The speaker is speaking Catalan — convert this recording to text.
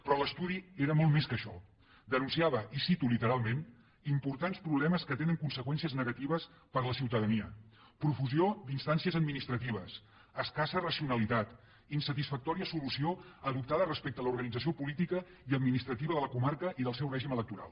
però l’estudi era molt més que això denunciava i ho cito literalment importants problemes que tenen conseqüències negatives per a la ciutadania profusió d’instàncies administratives escassa racionalitat insatisfactòria solució adoptada respecte a l’organització política i administrativa de la comarca i del seu règim electoral